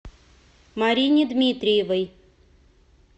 марине дмитриевой